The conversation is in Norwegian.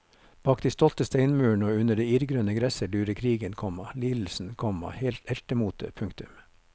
Bak de stolte steinmurene og under det irrgrønne gresset lurer krigen, komma lidelsen, komma heltemotet. punktum